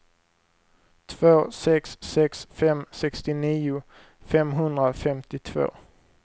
två sex sex fem sextionio femhundrafemtiotvå